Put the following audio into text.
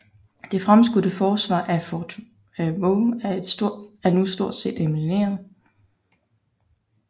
Det fremskudte forsvar af fort Vaux var nu stort set elimineret